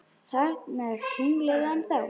Þarna er tunglið ennþá.